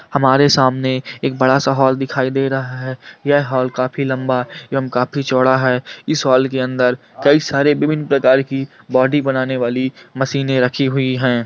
हमारे सामने एक बड़ा सा हॉल दिखाई दे रहा है यह हॉल काफी लंबा एवं काफी चौड़ा है इस हॉल के अंदर कई सारे विभिन्न प्रकार की बॉडी बनाने वाली मशीनें रखी हुई हैं।